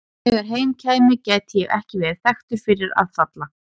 Þegar heim kæmi gæti ég ekki verið þekktur fyrir að falla.